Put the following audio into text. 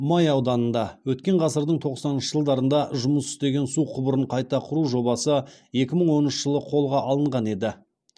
май ауданында өткен ғасырдың тоқсаныншы жылдарында жұмыс істеген су құбырын қайта құру жобасы екі мың оныншы жылы қолға алынған еді